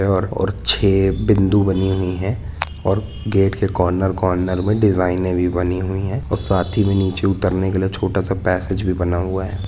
और छे बिंदु बनी हुई है और गेट के कॉर्नर कार्नर में डिज़ाइनए भी बनी हुई है और साथ ही में नीचे उतरने के लिए छोटा सा पैसेज भी बना हुआ है।